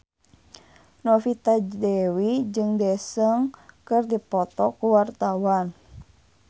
Novita Dewi jeung Daesung keur dipoto ku wartawan